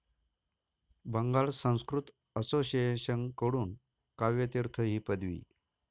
Bengal Sanskrit association कडून काव्य तीर्थ ही पदवी